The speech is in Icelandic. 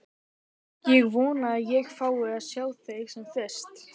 Ég vona að ég fái að sjá þig sem fyrst.